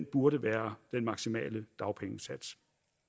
burde være den maksimale dagpengesats